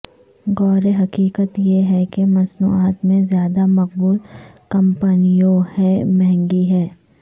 غور حقیقت یہ ہے کہ مصنوعات میں زیادہ مقبول کمپنیوں ہیں مہنگی ہے